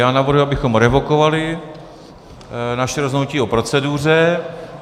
Já navrhuji, abychom revokovali naše rozhodnutí o proceduře.